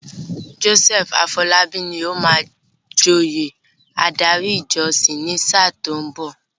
Joseph Afolabi ni ó máa joyè adarí ìjọsìn ní sáà tí ó ń bọ̀.